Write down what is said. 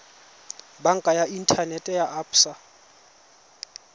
banka ya inthanete ya absa